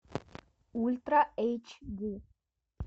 ультра эйч ди